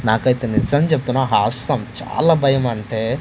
నాకు అయితె నిజం చెప్తున్న హాసం చాలా బయం అంటే--